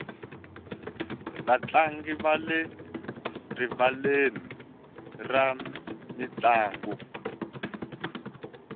vatlangi va le rivaleni ra mintlangu